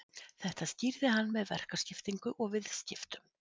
Þetta skýrði hann með verkaskiptingu og viðskiptum.